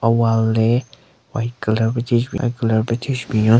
A-wall le white colour pe thyu shü white colour pe thyu shü binyon.